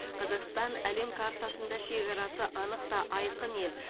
қазақстан әлем картасында шекарасы анық та айқын ел